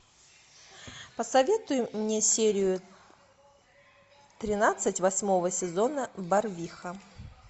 посоветуй мне серию тринадцать восьмого сезона барвиха